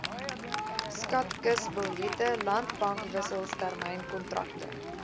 skatkisbiljette landbankwissels termynkontrakte